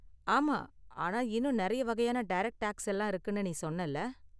ஆமா, ஆனா இன்னும் நிறைய வகையான டைரக்ட் டேக்ஸ் எல்லாம் இருக்குனு நீ சொன்னல?